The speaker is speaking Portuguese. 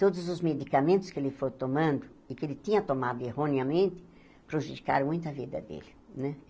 Todos os medicamentos que ele foi tomando e que ele tinha tomado erroneamente prejudicaram muito a vida dele né.